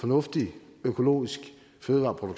når de nu kun må køre